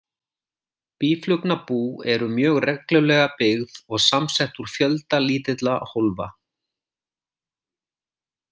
Býflugnabú eru mjög reglulega byggð og samsett úr fjölda lítilla hólfa.